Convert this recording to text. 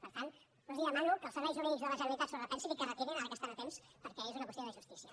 per tant jo els demano que els serveis jurídics de la generalitat s’ho repensin i que retirin ara que estan a temps perquè és una qüestió de justícia